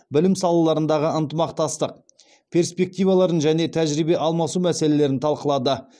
білім салаларындағы ынтымақтастық перспективаларын және тәжірибе алмасу мәселелерін талқылады